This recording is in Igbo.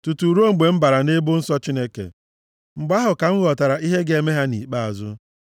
tutu ruo mgbe m bara nʼebe nsọ Chineke; mgbe ahụ ka m ghọtara ihe ga-eme ha nʼikpeazụ.